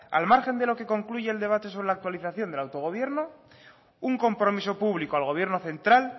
al margen de lo que concluya el debate sobre la actualización de autogobierno un compromiso público al gobierno central